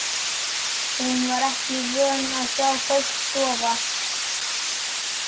Hún var ekki vön að sjá fólk sofa.